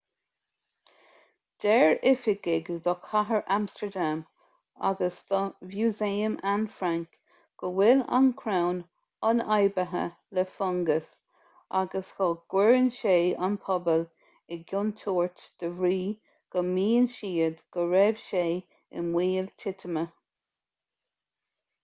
deir oifigigh do chathair amstardam agus do mhúsaem anne frank go bhfuil an crann ionfhabhtaithe le fungas agus go gcuireann sé an pobal i gcontúirt de bhrí go maíonn siad go raibh sé i mbaol titime